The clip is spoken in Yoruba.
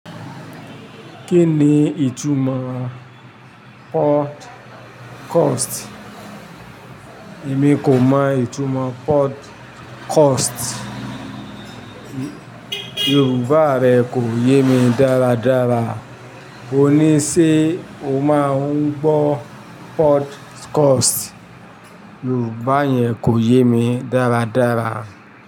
Kí ni ìtumọ̀ podcast? Èmi kò mọ ìtumọ̀ podcast, Yorùbá rẹ kò yé mi dáradára. O ní ṣé o máa ń gbọ́ podcast, Yorùbá yẹn kò yé mi dáradára.